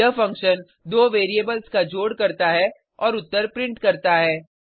यह फंक्शन दो वेरिएबल्स का जोड़ करता है और उत्तर प्रिंट करता है